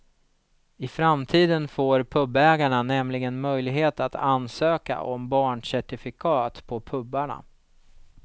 I framtiden får pubägarna nämligen möjlighet att ansöka om barncertifikat på pubarna.